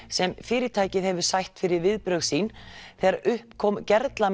sem fyrirtækið hefur sætt fyrir viðbrögð sín þegar upp kom